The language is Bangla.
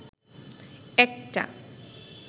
একটা